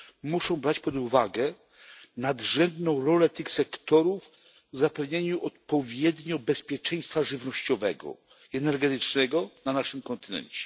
muszą brać pod uwagę ich nadrzędną rolę w zapewnianiu odpowiednio bezpieczeństwa żywnościowego i energetycznego na naszym kontynencie.